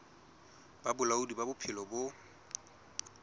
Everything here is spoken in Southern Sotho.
ba bolaodi ba bophelo bo